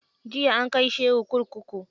Jiya an kai shehu kurkuku.